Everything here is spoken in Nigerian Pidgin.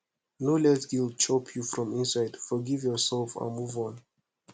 no let guilt chop you from inside forgive yourself and move on